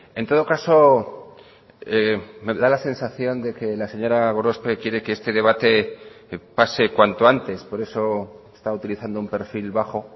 en todo caso me da la sensación de que la señora gorospe quiere que este debate pase cuanto antes por eso está utilizando un perfil bajo